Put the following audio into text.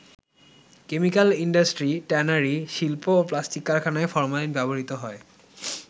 Chemical industry, tannery শিল্প ও plastic কারখানায় ফরমালিন ব্যবহৃত হয়।